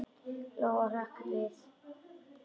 Lóa-Lóa hrökk við.